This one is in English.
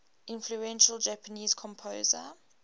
influential japanese composer